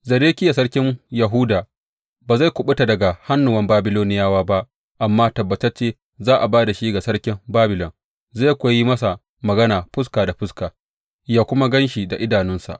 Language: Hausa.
Zedekiya sarkin Yahuda ba zai kuɓuta daga hannuwan Babiloniyawa ba amma tabbatacce za a ba da shi ga sarkin Babilon, zai kuwa yi masa magana fuska da fuska ya kuma gan shi da idanunsa.